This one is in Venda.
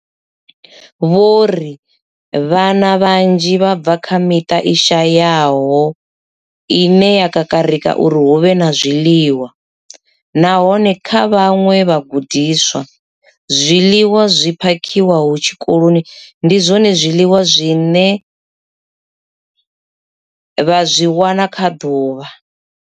Vho ri vhana vhanzhi vha bva kha miṱa i shayaho ine ya kakarika uri hu vhe na zwiḽiwa, nahone kha vhaṅwe vhagudiswa, zwiḽiwa zwi phakhiwaho tshikoloni ndi zwone zwiḽiwa zwine vha zwi wana kha ḓuvha.